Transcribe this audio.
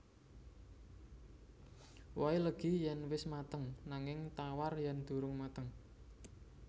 Wohé legi yèn wis mateng nanging tawar yèn durung mateng